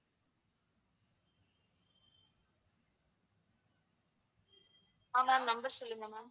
ஆஹ் ma'am number சொல்லுங்க ma'am